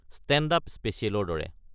Stand-up স্পেছিয়েলৰ দৰে।